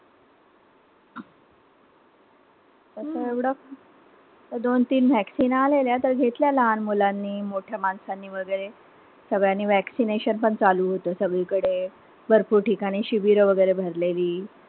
त्या दोन-तीन vaccine आलेल्या तर घेतलेल्या लहान मुलांनी, मोठ्या माणसांनी वगैरे. सगळ्यांनी vaccination पण चालू होत सगळीकडे. भरपूर ठिकाणी शिबिरं वगैरे भरलेली.